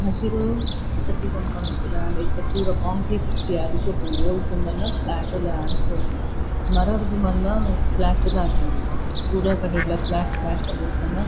ಹಸಿರು ಸಿಟಿ ಪನ್ಪುನ ಇತ್ತ್ಂಡ್ ಆಂಡ ಇತ್ತೆ ಪೂರ ಕಾಂಕ್ರೀಟ್ ಸಿಟಿ ಆದ್ ಪೋತುಂಡ್. ಓಲ್ ತೂಂಡಲ ಫ್ಲ್ಯಾಟ್ ಲೆ ಆದ್ ಪೋತುಂಡ್ ಮರರ್ದ್ ಮಲ್ಲ ಫ್ಲ್ಯಾಟ್ ಲು ಆತುಂಡ್ ಪೂರ ಕಡೆಟ್ಲ ಫ್ಲ್ಯಾಟ್ ಫ್ಲ್ಯಾಟ್ ಪಂದ್ ನನ--